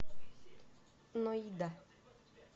ноида